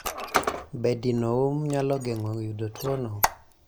Be dino hum nyalo geng'o yudo tuwono?